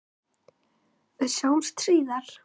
Við sjáumst síðar.